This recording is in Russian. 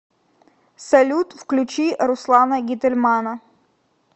салют включи руслана гительмана